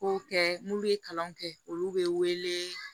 Kow kɛ n'u ye kalan kɛ olu bɛ wele